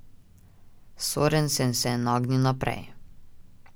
Sorensen se je nagnil naprej.